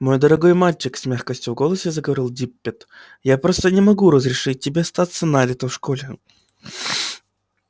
мой дорогой мальчик с мягкостью в голосе заговорил диппет я просто не могу разрешить тебе остаться на лето в школе